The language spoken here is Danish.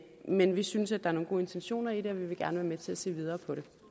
men vi synes der er nogle gode intentioner i det og vi vil gerne være med til at se videre